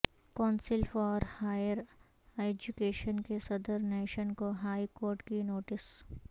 council for higher education کے صدرنشین کو ہائی کورٹ کی نوٹس